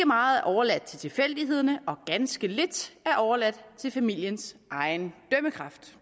meget overladt til tilfældighederne og ganske lidt er overladt til familiens egen dømmekraft